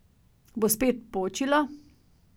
Bo spet počilo?